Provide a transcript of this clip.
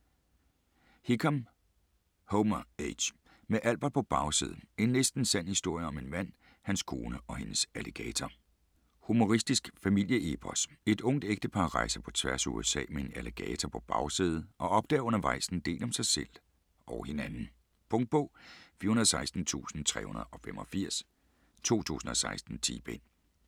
Hickam, Homer H.: Med Albert på bagsædet: en næsten sand historie om en mand, hans kone og hendes alligator Humoristisk familieepos. Et ungt ægtepar rejser på tværs af USA med en alligator på bagsædet og opdager undervejs en del om sig selv og hinanden. Punktbog 416385 2016. 10 bind.